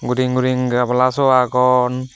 guring guring gabala sow agon.